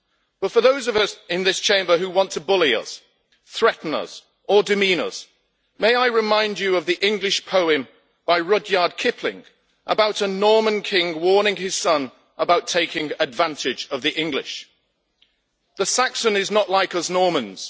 But for those in this Chamber who want to bully us, threaten us or demean us, may I remind you of the English poem by Rudyard Kipling about a Norman king warning his son about taking advantage of the English The Saxon is not like us Normans.